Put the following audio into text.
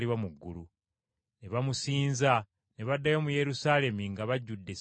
Ne bamusinza, ne baddayo mu Yerusaalemi nga bajjudde essanyu lingi.